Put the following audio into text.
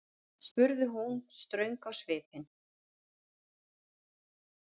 spurði hún ströng á svipinn.